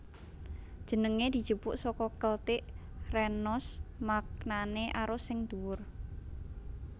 Jenengé dijupuk saka Keltik renos maknané arus sing dhuwur